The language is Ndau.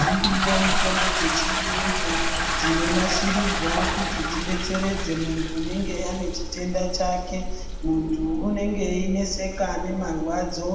Dziriyo mitombo dzechiyungu dzinonasirirwa kuti dzidetseredze muntu anenge anechitenda chake muntu unenge eineseka ngemarwadzo